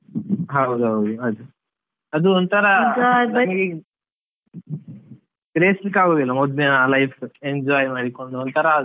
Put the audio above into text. ಹೌದ್ ಹೌದ್ ಅದೇ, ಅದು ಗ್ರಹಿಸ್ಲಿಕ್ಕೆ ಆಗುದಿಲ್ಲ ಮೊದ್ಲಿನ life enjoy ಮಾಡಿಕೊಂಡು, ಒಂತರಾ ಅದು.